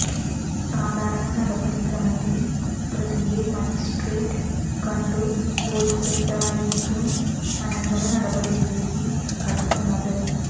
സാധാരണ നടപടി ക്രമത്തിൽ പ്രതിയെ മജിസ്ട്രേറ്റ് കണ്ടു ബോധ്യപ്പെട്ടായിരിക്കും അനന്തര നടപടിയിലേക്ക് കടക്കുന്നത്